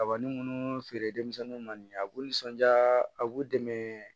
Kabini munnu feere denmisɛnninw ma nin ye a b'u nisɔndiya a b'u dɛmɛ